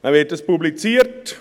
Dann wird dies publiziert.